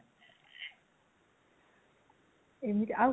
ଆଉ କଣ କୁହନ୍ତୁ